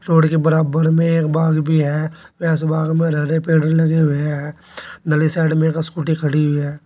Road के बराबर में एक बाग भी है एस बाग में हरे हरे पेड़ भी लगे हुए हैं अंदरली साइड में एक स्कूटी खड़ी हुई है।